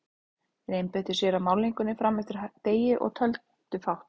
Þeir einbeittu sér að málningunni fram eftir degi og töluðu fátt.